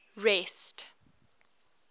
rest